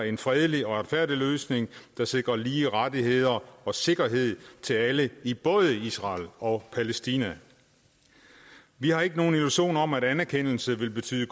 en fredelig og retfærdig løsning der sikrer lige rettigheder og sikkerhed til alle i både israel og palæstina vi har ikke nogen illusioner om at anerkendelse vil betyde